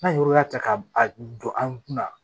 N'an ye yɔrɔ ta k'a don an kun na